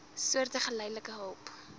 soorte geldelike hulp